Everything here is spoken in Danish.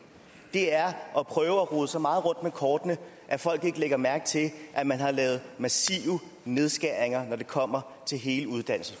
det er at prøve at rode så meget rundt med kortene at folk ikke lægger mærke til at man har lavet massive nedskæringer når det kommer til hele uddannelses